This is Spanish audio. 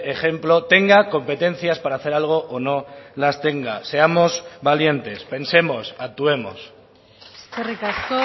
ejemplo tenga competencias para hacer algo o no las tenga seamos valientes pensemos actuemos eskerrik asko